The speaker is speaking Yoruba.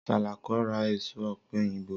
Sàlàkó ra èso ọ̀pẹ̀ òyìnbó